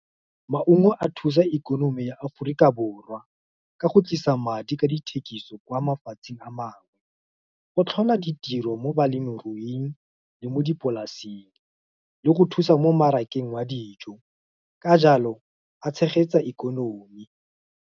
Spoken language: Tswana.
Maungo a thusa ikonomi ya Aforika Borwa, ka go tlisa madi ka dithekiso, kwa mafatsheng a mangwe, go tlhola ditiro mo balemiruing, le mo dipolaseng, le go thusa mo mmarakeng wa dijo, ka jalo, a tshegetsa ikonomi.